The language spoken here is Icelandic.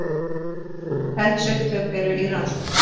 Eldsupptök eru í rannsókn